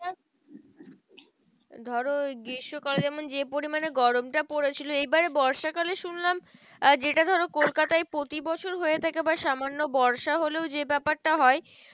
ধরো ওই গ্রীষ্মকালে যেমন যে, পরিমানে গরমটা পড়েছিল এই বাড়ে বর্ষা কালে শুনলাম যেটা ধরো কলকাতায় প্রতি বছর হয়ে থাকে সামান্য বর্ষা হলেও যে ব্যাপারটা হয়?